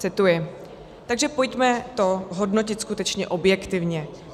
Cituji: "Takže pojďme to hodnotit skutečně objektivně.